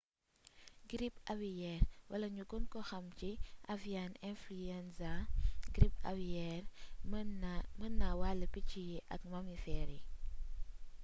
girip awiyeer wala ñu gën ko xamee ci avian influenza girip awiyeer mën naa wàll picc yi ak mamifeer yi